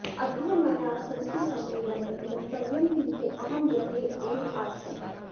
अद्य मया संस्कृतसम्मेलने गन्तव्यं किन्तु अहं गृहे एव आसम्